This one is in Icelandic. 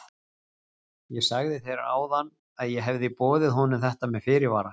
Ég sagði þér áðan að ég hefði boðið honum þetta með fyrirvara.